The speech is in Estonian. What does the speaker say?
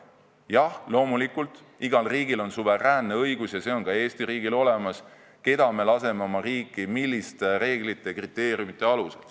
Jah, loomulikult, igal riigil on suveräänne õigus – ja see on ka Eesti riigil – otsustada, keda me laseme oma riiki ning milliste reeglite ja kriteeriumite alusel.